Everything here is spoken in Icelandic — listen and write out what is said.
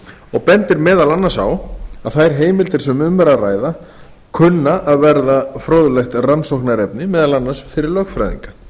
og bendir meðal annars á að þær heimildir sem um er að ræða kunna að verða fróðlegt rannsóknarefni fyrir lögfræðinga